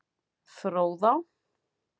Fróðá